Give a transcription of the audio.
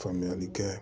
Faamuyali kɛ